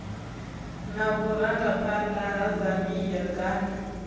na vhurangaphanḓa ha zambia ghana